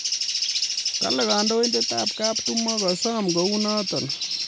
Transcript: Kale kandoindetab kaptumo kosom kuonotok